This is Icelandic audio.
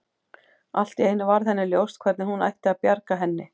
Allt í einu varð henni ljóst hvernig hún ætti að bjarga henni.